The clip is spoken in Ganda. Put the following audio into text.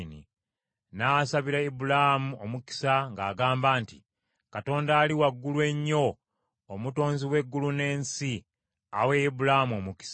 N’asabira Ibulaamu omukisa ng’agamba nti, “Katonda Ali Waggulu Ennyo Omutonzi w’eggulu n’ensi awe Ibulaamu omukisa.